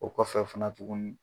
O kɔfɛ fana tugunni.